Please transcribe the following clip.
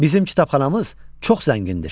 Bizim kitabxanamız çox zəngindir.